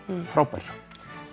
frábær